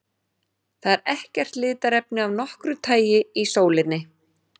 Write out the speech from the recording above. Það er ekkert litarefni af nokkru tagi í sólinni.